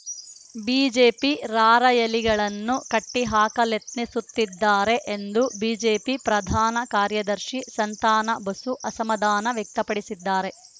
BJP ರಾರ‍ಯಲಿಗಳನ್ನು ಕಟ್ಟಿಹಾಕಲೆತ್ನಿಸುತ್ತಿದ್ದಾರೆ ಎಂದು ಬಿಜೆಪಿ ಪ್ರಧಾನ ಕಾರ್ಯದರ್ಶಿ ಸಂತಾನ ಬಸು ಅಸಮಾಧಾನ ವ್ಯಕ್ತಪಡಿಸಿದ್ದಾರೆ